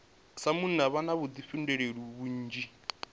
sa munna vha na vhuḓifhinduleli vhunzhi